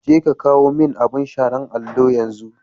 Je ka kawo min abin share allo yanzu.